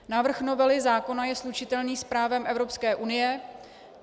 Návrh novely zákona je slučitelný s právem Evropské unie.